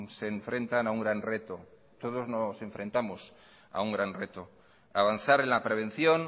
se enfrentan a un gran reto todos nos enfrentamos a un gran reto avanzar en la prevención